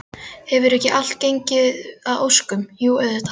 Hefur ekki allt gengið að óskum, jú auðvitað.